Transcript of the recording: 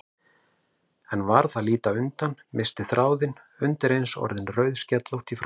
En varð að líta undan, missti þráðinn, undireins orðin rauðskellótt í framan.